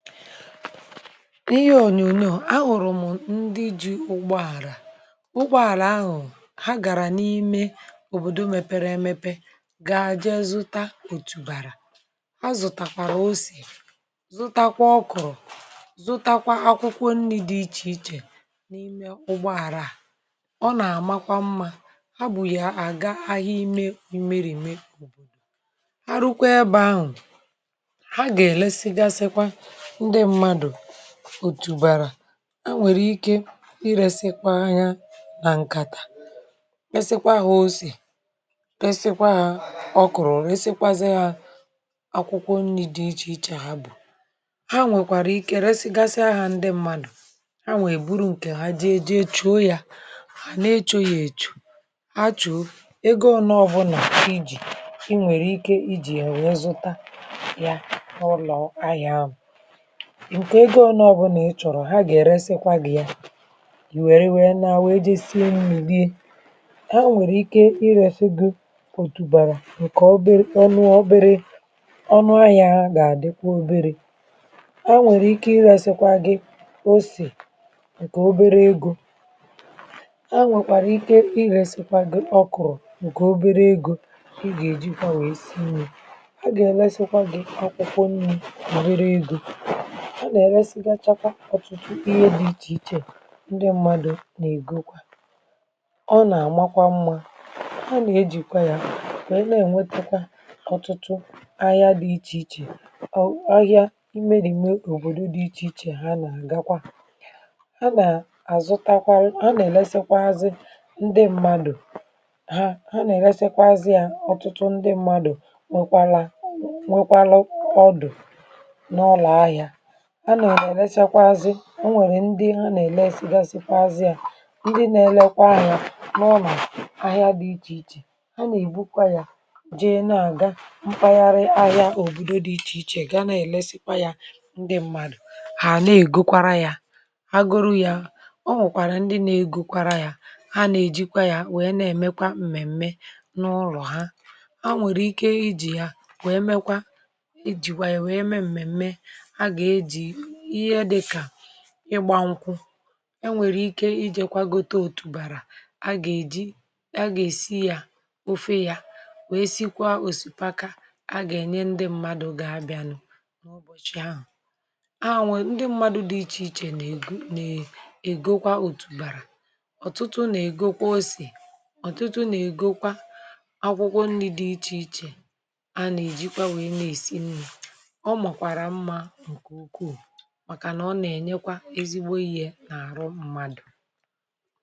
N'ihe onyonyo, a hụrụ m ndị ji ụgbọala, ụgbọala ahụ, ha gara n'ime obodo mepere emepe, gaa jee zụta otubara, ha zụtakwara ose, zụtakwa ọkrọ, zụtakwa akwụkwọ nri dị iche iche n'ime ụgbọala a. Ọ na-amakwa mma, ha bu ya aga ahịa ime imerime obodo, ha rukwaa ebe ahụ, ha ga-eresi gasikwa ndị mmadụ otubara. E nwere ike iresikwa ha na nkata, resikwa ha ose, resikwa ha ọkrọ, resikwa ha akwụkwọ nri dị iche iche ha bụ. Ha nwekwara ike resigasia ha ndị mmadụ. Hanwa e buru nke ha jee chuo ya, ha na-echo ya echo, ha chuo ya, ego one ọbụna ị ji, ị nwere ike iji ya wee zụta ya, n'ulo ahịa ahụ nke ego one ọbụna ị chọrọ ha ga-eresikwa gị ya, ị we wee naruo wee jee sie nri, rie. E nwere ike iresi gị otubara nke obere... ọnụ...ọnụ obere....onu ahịa ga-adịkwa obere. E nwere ike iresikwa gị ose, nke obere ego. Ha nwekwara ike iresikwa gị ọkrọ nke obere ego, ị ga-ejikwa wee si nri. Ha ga-eresikwa gị akwụkwọ nri obere ego. Ha ga-eresigacha kwa ọtụtụ ihe dị iche iche ndị mmadụ na-egokwa. Ọ na-amakwa mma, a na-ejikwa ya wee na-enwetekwa ọtụtụ ahịa dị iche iche, ahịa imerime obodo dị iche iche ha na-agakwa. A na-azụtakwa, a na-eresịkwazi ndị mmadụ, ha, ha na-eresịkwazi ha, ọtụtụ ndị mmadụ nụkwara, nọkwara ọdụ n'ulo ahịa. Ha na-eresịkwazi, e nwere ndị ha na-eresị gasị ya ndị na-erekwa ahịa n'ulo ahịa dị iche iche, ha na-ebukwa ya jee na-aga mpaghara ahịa ogige ahịa dị iche iche ga na-eresịkwa ya ndị mmadụ, ha na-egokwara ya, ha goro ya, o nwekwara ndị na-egokwara ya, ha na-ejikwa ya, wee na-emekwa mmemme n'ulo ha. Ha nwere ike iji ya wee meekwa, iji ya wee mee mmemme. A ga-eji ihe dịka ịgba nkwụ. E nwere ike ijekwa gote otubara a ga-eji, a ga-esi ya, ofe ya, wee sikwa osikapa, a ga-enye ndị mmadụ ga-abịanụ ụbọchị ahụ. A... ndị mmadụ dị iche iche na-ego, na e..., egokwa otubara, ọtụtụ na-egokwa ose, ọtụtụ na-egokwa akwụkwọ nri dị iche iche, a na-ejikwa wee na-esi nri. Ọ makwara mma nke ukwuu maka na ọ na e enyekwa ezigbo ihe na arụ mmadụ.